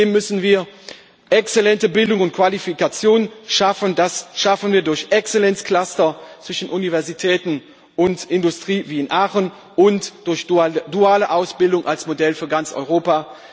Zudem müssen wir exzellente Bildung und Qualifikation schaffen. Das schaffen wir durch Exzellenzcluster zwischen Universitäten und Industrie wie in Aachen und durch duale Ausbildung als Modell für ganz Europa.